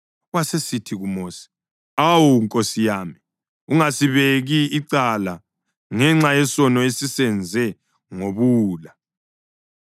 wasesithi kuMosi, “Awu, nkosi yami, ungasibeki icala ngenxa yesono esisenze ngobuwula.